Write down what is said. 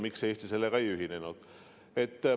Miks Eesti sellega ei ühinenud?